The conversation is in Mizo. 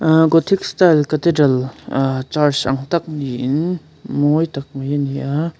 gothic style cathedral aa church ang tak niin mawi tak mai ani a.